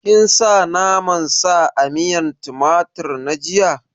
Kin sa naman sa a miyan tumatir na jiya?